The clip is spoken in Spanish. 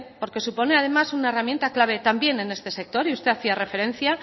porque suponía además una herramienta clave también en este sector y usted hacía referencia